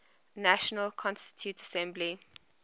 national constituent assembly